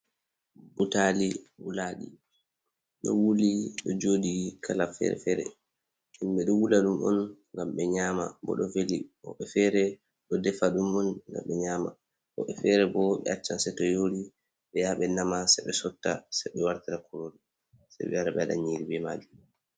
Butalii wulaɗii ɗo wuli ɗo joɗi kala fere-fere himɓe ɗo wula ɗum on ngam ɓe nyama bo ɗo veli bo woɓɓe fere ɗo defa ɗum on ngam be nyama woɓɓe fere bo ɓe acchan sai to yori ɓe nama se ɓe sotta se ɓe wartira kurori se ɓe wara ɓe waɗa nyiri be majum.